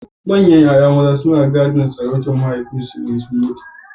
Manyan ‘ya’yan maza kai tsaye suna gadon sarautar mahaifinsu bayan sun mutu.